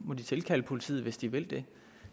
må de tilkalde politiet hvis de vil det